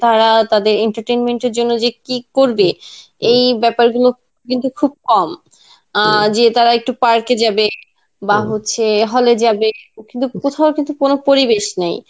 তারা তাদের entertenment জন্যে যে কি করবে এই ব্যাপারগুলো কিন্তু খুব কম. অ্যাঁ যে তারা একটু park এ যাবে , বা হচ্ছে hall এ যাবে কিন্তু কোথাও কিন্তু পরিবেশ নেই.